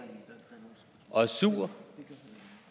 og er sur